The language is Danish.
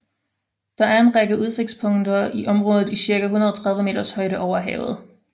Der er en række udsigtspunkter i området i cirka 130 meters højde over havet